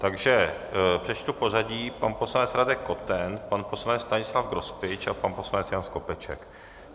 Takže přečtu pořadí: pan poslanec Radek Koten, pan poslanec Stanislav Grospič a pan poslanec Jan Skopeček.